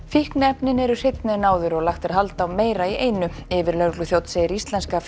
fíkniefnin eru hreinni en áður og lagt er hald á meira í einu yfirlögregluþjónn segir íslenska